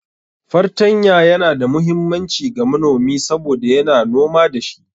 Fartanya Yana da muhimmanci ga manomi saboda yana noma da shi.